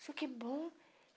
Isso que bom.